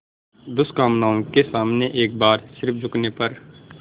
दुष्कामनाओं के सामने एक बार सिर झुकाने पर